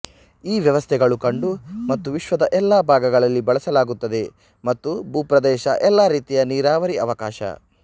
ಈ ವ್ಯವಸ್ಥೆಗಳು ಕಂಡು ಮತ್ತು ವಿಶ್ವದ ಎಲ್ಲಾ ಭಾಗಗಳಲ್ಲಿ ಬಳಸಲಾಗುತ್ತದೆ ಮತ್ತು ಭೂಪ್ರದೇಶ ಎಲ್ಲಾ ರೀತಿಯ ನೀರಾವರಿ ಅವಕಾಶ